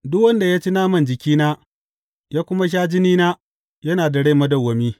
Duk wanda ya ci naman jikina ya kuma sha jinina, yana da rai madawwami.